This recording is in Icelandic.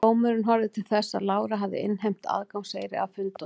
Dómurinn horfði til þess að Lára hafði innheimt aðgangseyri að fundunum.